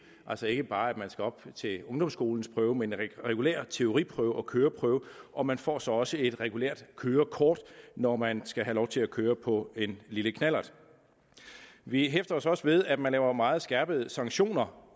altså ikke bare op til ungdomsskolens prøve men en regulær teoriprøve og køreprøve og man får så også et regulært kørekort når man skal have lov til at køre på en lille knallert vi hæfter os også ved at man laver meget skærpede sanktioner